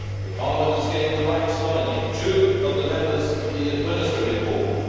Parliament has gained the right to nominate two of the members of the administrative board.